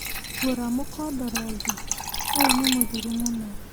Gura mũkondoro ũngĩ ũyũ nĩmũthiru mũno